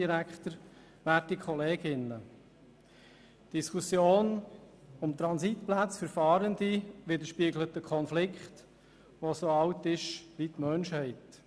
Die Diskussion um Transitplätze für Fahrende widerspiegelt einen Konflikt, der so alt ist wie die Menschheit.